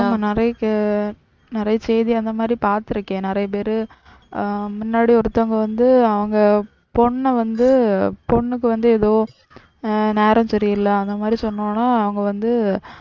ஆமாம் நிறைய நிறைய செய்தி அந்த மாதிரி பாத்திருக்கேன் நிறைய பேர் ஆஹ் முன்னாடி ஒருத்தவங்க வந்து அவுங்க பொண்ண வந்து பொண்ணுக்கு வந்து ஏதோ ஆஹ் நேரம் சரியில்லை அந்த மாதிரி சொன்னோன அவங்க வந்து